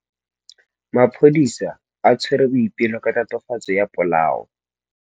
Maphodisa a tshwere Boipelo ka tatofatsô ya polaô.